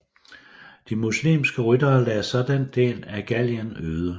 De muslimske ryttere lagde så den del af Gallien øde